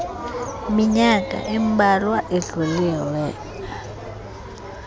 minyaka imbalwa idlulileyo